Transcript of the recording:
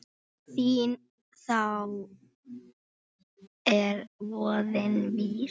Því þá er voðinn vís.